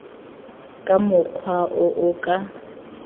ka mokgwa o o ka